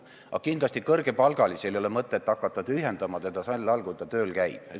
Ja kindlasti ei ole kõrgepalgalisel mõtet hakata seda sammast tühjendama ajal, kui ta veel tööl käib.